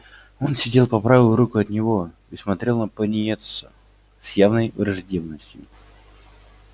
он сидел по правую руку от него и смотрел на пониетса с явной враждебностью